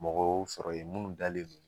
Mɔgɔ y'u sɔrɔ yen munnu dalen don